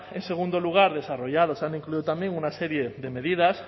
en segundo lugar desarrollado se han incluido también una serie de medidas